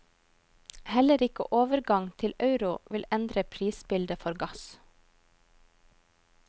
Heller ikke overgang til euro vil endre prisbildet for gass.